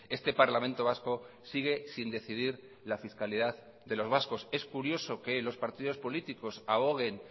este parlamento vasco sigue sin decidir la fiscalidad de los vascos es curioso que los partidos políticos aboguen